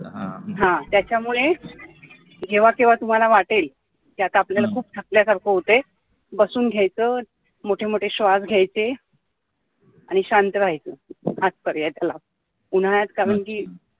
हा त्याचमुळे जेव्हा केव्हा तुम्हाला वाटेल कि आता आपल्याला खूप थकल्यासारखं होतंय बसून घ्यायचं, मोठे मोठे श्वास घ्यायचे आणि शांत व्ह्यच, हाच पर्याय त्याला. उन्हाळ्यात कारण की